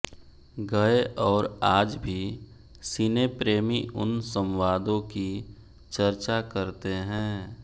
गए और आज भी सिने प्रेमी उन संवादों की चर्चा करते हैं